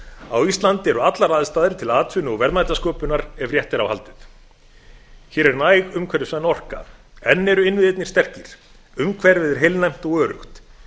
á íslandi eru allar aðstæður til atvinnu og verðmætasköpunar ef rétt er á haldið hér er næg umhverfisvæn orka enn eru innviðirnir sterkir umhverfið er heilnæmt og öruggt